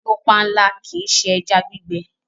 Lọ pànla, kí ì ṣé ẹ̀já gbìgbẹ!